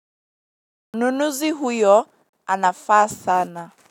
Mnunuzi huyo anafaa sana.